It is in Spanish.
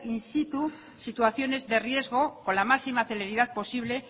in situ situaciones de riesgo con la máxima celeridad posible